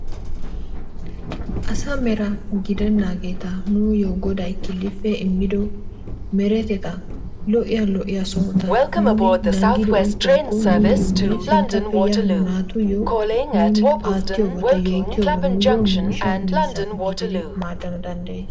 Asaa mera gidennaageeta nuuyoo goday killippe immido meretettaa lo'iya lo'iya sohota nuuni nanggiddi oyqqiyakko nuuyoonne sinttappe yiya nu naattuyoo nuuni aattiyoba mishsha miizza gididi maadana danddayees